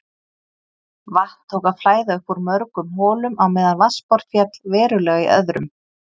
Vatn tók að flæða upp úr mörgum holum á meðan vatnsborð féll verulega í öðrum.